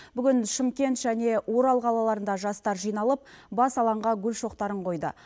бүгін шымкент және орал қалаларында жастар жиналып бас алаңға гүл шоқтарын қойды